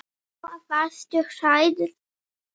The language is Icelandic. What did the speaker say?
Lóa: Varstu hrædd?